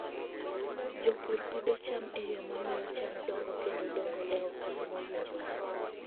Jopur pidho cham e yo mamiyo cham dongo kendo dongo e okang' mowinjore.